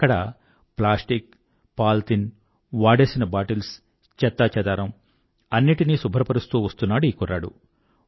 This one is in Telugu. అక్కడ ప్లాస్టిక్ పాలిథీన్ వాడేసిన బాటిల్స్ చెత్తా చెదారం అన్నింటినీ శుభ్రపరుస్తూ వస్తున్నాడు ఈ కుర్రాడు